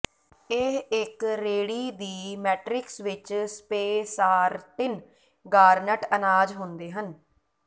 ਇਹ ਇੱਕ ਰੇਡੀ ਦੀ ਮੈਟਰਿਕਸ ਵਿੱਚ ਸਪੇਸਾਰਟਿਨ ਗਾਰਨਟ ਅਨਾਜ ਹੁੰਦੇ ਹਨ